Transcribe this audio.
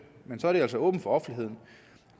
men så er det altså også åbent for offentligheden